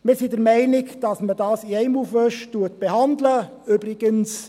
Wir sind der Meinung, dass man es in einem Aufwasch behandeln soll.